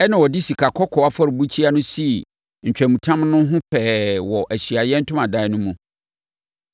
ɛnna ɔde sikakɔkɔɔ afɔrebukyia sii ntwamutam no ho pɛɛ wɔ Ahyiaeɛ Ntomadan no mu.